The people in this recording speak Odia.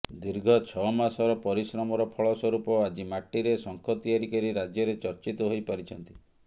ଦୀର୍ଘ ଛଅମାସର ପରିଶ୍ରମର ଫଳ ସ୍ୱରୂପ ଆଜି ମାଟିରେ ଶଙ୍ଖ ତିଆରି କରି ରାଜ୍ୟରେ ଚର୍ଚ୍ଚିତ ହୋଇପାରିଛନ୍ତି